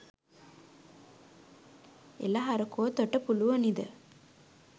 එලහරකෝ තොට පුලුවනිද